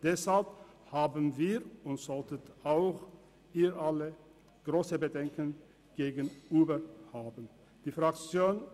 Deshalb haben wir grosse Bedenken wegen Uber und diese sollten Sie teilen.